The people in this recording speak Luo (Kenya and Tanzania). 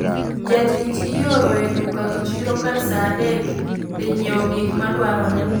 Jatich ioro e duka gi chiro kar saa adek dhi nyieo gik madwarore